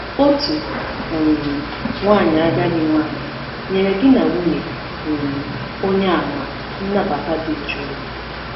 Otu um nwanyị agadi nwanyị nyere di na nwunye um Onyeàmà nnabata dị jụụ.